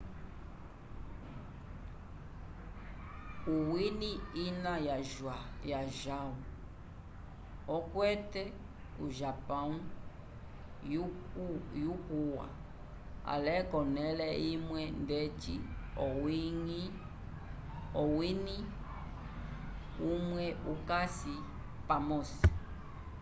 o wini ina o jaão akwete o japão iukuwa ale konele imwe ndeci owini imwe ikasi pamosi